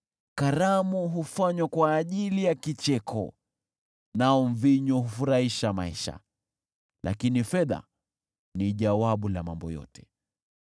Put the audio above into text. Karamu hufanywa kwa ajili ya kicheko, nao mvinyo hufurahisha maisha, lakini fedha ni jawabu la mambo yote.